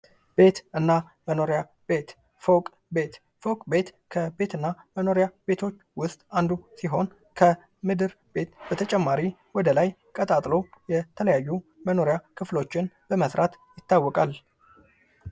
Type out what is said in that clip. ቤት እና መኖሪያ ቤት ፎቅ ቤት :- ፎቅ ቤት ከቤት እና ከመኖሪያ ቤቶች ዉስጥ አንዱ ሲሆን ከምድር ቤት በተጨማሪ ወደ ላይ አንድን ቤት ቀጣጥሎ በመስራት ይታወቃል።